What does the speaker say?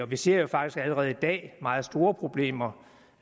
vi ser jo faktisk allerede i dag meget store problemer